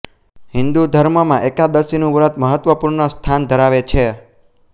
હિંદુ ધર્મમાં એકાદશીનું વ્રત મહત્વપૂર્ણ સ્થાન ધરાવે છે